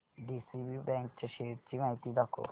DCB bank च्या शेअर्स ची माहिती दाखव